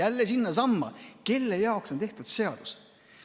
Jälle sinnasamma: kelle jaoks on seadus tehtud?